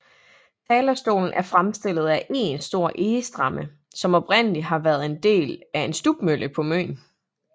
Talerstolen er fremstillet af én stor egestamme som oprindelig har været en del af en stubmølle på Møn